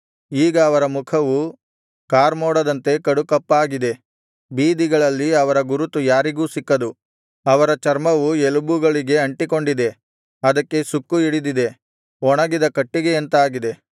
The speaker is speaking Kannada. ಈಗ ಅವರ ಮುಖವು ಕಾರ್ಮೋಡದಂತೆ ಕಡುಕಪ್ಪಾಗಿದೆ ಬೀದಿಗಳಲ್ಲಿ ಅವರ ಗುರುತು ಯಾರಿಗೂ ಸಿಕ್ಕದು ಅವರ ಚರ್ಮವು ಎಲುಬುಗಳಿಗೆ ಅಂಟಿಕೊಂಡಿದೆ ಅದಕ್ಕೆ ಸುಕ್ಕು ಹಿಡಿದಿದೆ ಒಣಗಿದ ಕಟ್ಟಿಗೆಯಂತಾಗಿದೆ